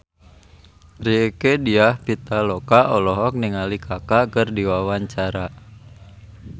Rieke Diah Pitaloka olohok ningali Kaka keur diwawancara